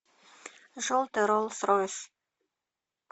желтый роллс ройс